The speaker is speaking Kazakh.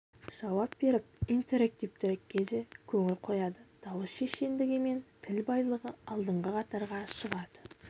жауап беріп интерактивтілікке де көңіл қояды дауысы шешендігі мен тіл байлығы алдыңғы қатарға шығады